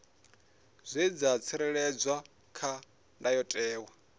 zwe dza tsireledzwa kha ndayotewa